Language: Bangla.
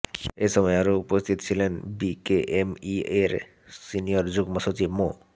এ সময় আরো উপস্থিত ছিলেন বিকেএমইএর সিনিয়র যুগ্ম সচিব মো